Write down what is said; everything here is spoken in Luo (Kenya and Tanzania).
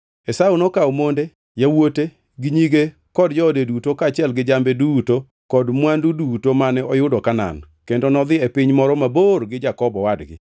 Esau nokawo monde, yawuote, nyige kod joode duto kaachiel gi jambe duto kod mwandu duto mane oyudo Kanaan, kendo nodhi e piny moro mabor gi Jakobo owadgi.